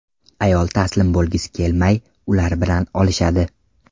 Ayol taslim bo‘lgisi kelmay ular bilan olishadi.